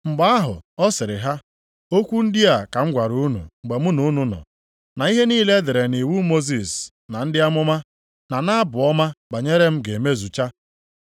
Mgbe ahụ, ọ sịrị ha, “Okwu ndị a ka m gwara unu mgbe mụ na unu nọ, na ihe niile e dere nʼiwu Mosis na ndị Amụma na nʼAbụ Ọma banyere m ga-emezucha.”